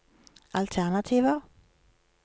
alternativer